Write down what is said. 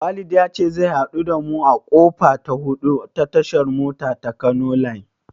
Walid ya ce zai haɗu da mu a kofa ta hudu ta tashar mota ta Kano line.